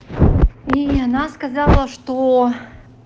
и она сказала что